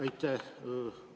Aitäh!